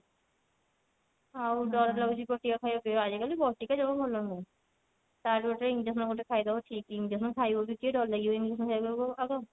ଆଉ ଡର ଲାଗୁଛି ବଟିକା ଖାଇବା ପାଇଁ ଆଜି କାଲି ବଟିକା ଜମା ଭଲ ନୁହଁ ତା ଠୁ better injection ଗୋଟେ ଖାଇଦବ ଠିକ injection ଖାଇବ ବି କିଏ ଡର ଲାଗିବ injection ଖାଇବାକୁ ଆଉ କଣ